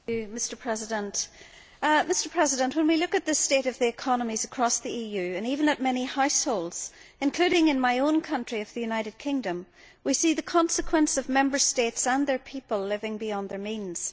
Mr President, when we look at the state of the economies across the EU and even at many households including in my own country of the United Kingdom we see the consequence of Member States and their people living beyond their means.